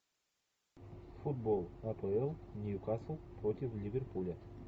футбол апл ньюкасл против ливерпуля